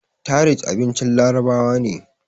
tharid abincin larabawa ne